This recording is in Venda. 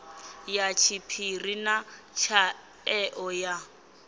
ya tshiphiri na tshaeo ya